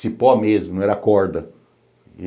Cipó mesmo, não era corda.